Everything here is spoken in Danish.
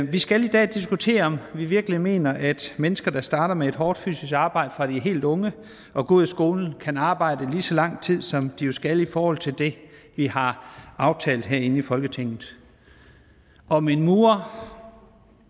vi skal i dag diskutere om vi virkelig mener at mennesker der starter med et hårdt fysisk arbejde fra de er helt unge og går ud af skolen kan arbejde lige så lang tid som de jo skal i forhold til det vi har aftalt herinde i folketinget om en murer om